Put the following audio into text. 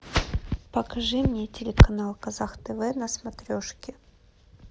покажи мне телеканал казах тв на смотрешке